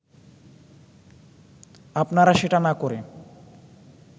আপনারা সেটা না করে